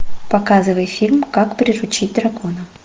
показывай фильм как приручить дракона